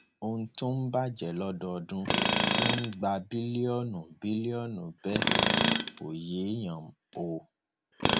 ohun tó ń bàjẹ lọdọọdún tó ń gba bílíọnù bílíọnù bẹẹ kò yéèyàn o